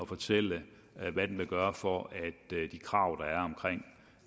fortælle hvad den vil gøre for at de krav